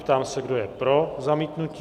Ptám se, kdo je pro zamítnutí?